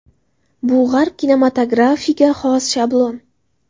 Bu G‘arb kinematografiga xos shablon.